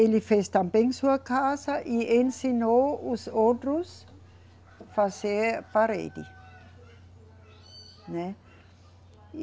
Ele fez também sua casa e ensinou os outros fazer parede, né. E